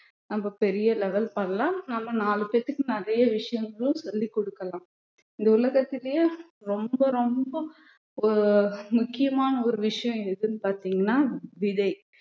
நம்ம பெரிய level பண்ணலாம் நம்ம நாலு பேத்துக்கும் நிறைய விஷயங்களும் சொல்லிக் கொடுக்கலாம் இந்த உலகத்திலேயே ரொம்ப ரொம்ப ஒரு முக்கியமான ஒரு விஷயம் எதுன்னு பார்த்தீங்கன்னா விதை